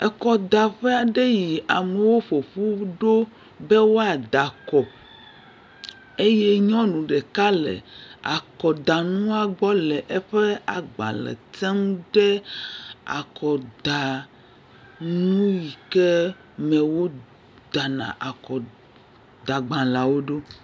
akɔdaƒe aɖe yi amowo ƒoƒu be woadakɔ eye nyɔŋu ɖeka le akɔdaŋua gbɔ le eƒe gbalē tem ɖe akɔda nuike me wó dana akɔda gbalēawo ɖó